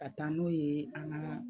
Ka taa n'o ye an ga